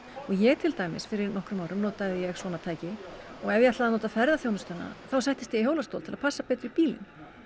ég til dæmis fyrir nokkrum árum notaði ég svona tæki og ef ég ætlaði að nota ferðaþjónustuna þá settist ég í hjólastól til að passa betur í bílinn